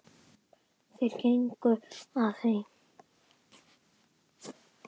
Þeir gengu að því.